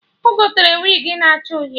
Ọ gotere wigi na acha Uhie